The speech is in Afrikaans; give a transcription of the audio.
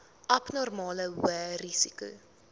abnormale hoë risiko